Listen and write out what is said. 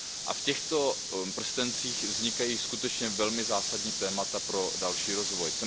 A v těchto prstencích vznikají skutečně velmi zásadní témata pro další rozvoj.